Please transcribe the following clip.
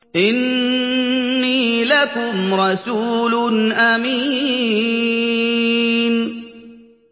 إِنِّي لَكُمْ رَسُولٌ أَمِينٌ